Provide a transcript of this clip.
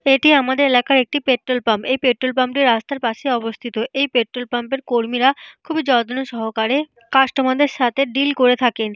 এটি আমাদের এলাকার একটি পেট্রল পাম্প । এই পেট্রল পাম্প -টি রাস্তার পাশে অবস্থিত। এই পেট্রল পাম্প -এর কর্মীরা খুব যত্ন সহকারে কাস্টমার -দের সাথে ডিল করে থাকেন।